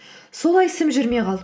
солай ісім жүрмей қалды